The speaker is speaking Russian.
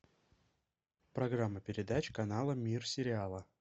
программа передач канала мир сериала